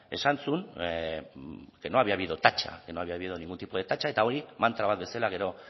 esan zuen que no había habido tacha que no había habido ningún tipo de tacha eta hori mantra bat bezala gero